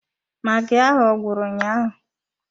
Magi ahụ ọ gwụrụ ụnyaahụ?